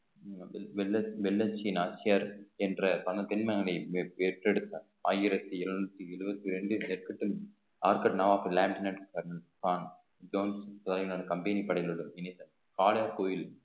வெள்~ வெள்ள~ வெள்ளச்சி நாச்சியார் என்ற பல பெணாலே பெற்றெடுத்த ஆயிரத்தி எழுநூத்தி எழுபத்தி இரண்டில் company படங்களோட இணைந்த காளையார்கோவில்